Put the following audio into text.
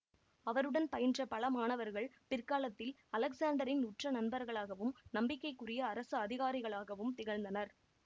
அவருடன் பயின்ற பல மாணவர்கள் பிற்காலத்தில் அலெக்சாண்டரின் உற்ற நண்பர்களாகவும் நம்பிக்கைக்குரிய அரசு அதிகாரிகளாகவும் திகழ்ந்தனர்